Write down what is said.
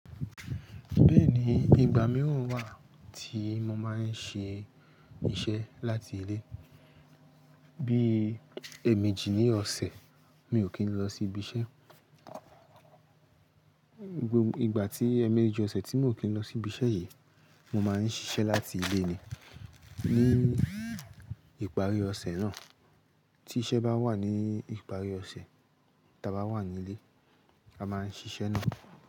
Bẹ́ẹ̀ni, ìgbà mìíràn wà tí mo máa ń ṣe iṣẹ́ láti ilé, bí i èèmejì ní ọ̀sẹ̀, mi ò kí ń lọ sí ibi iṣẹ́. Ìgbà tí èèmejì ọ̀sẹ̀ tí mi ò kí ń lọ sí ibi iṣẹ́ yen, mo máa ń ṣiṣẹ́ láti ilé ni. Ní ìparí ọ̀sẹ̀ náà, tí iṣẹ́ bá wà ní ìparí ọ̀sẹ̀ tá a bá wà nílé, a máa ń ṣiṣẹ́ náà.